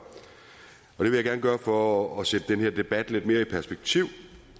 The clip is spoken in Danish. for at sætte den her debat lidt mere i perspektiv